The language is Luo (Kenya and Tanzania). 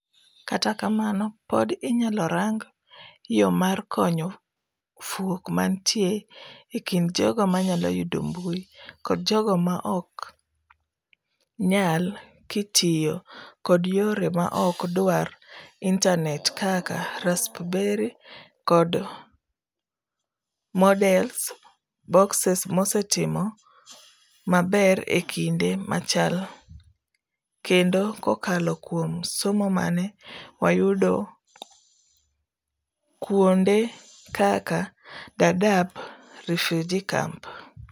Kata kamano, pod inyalo rang yo mar konyo fuok mantie ekind jogo manyalo yudo mbui kod jogo maok nyalkitiyo kod yore maok dwar internatekaka Raspberry Pis kod Moodle Boxesmosetimo maber ekinde malachkendo kokalo kuom somo mane wayudo kuo nde kaka Daadab Refugee camp.